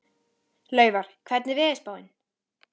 Laufar, hvernig er veðurspáin?